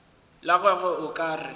la gagwe o ka re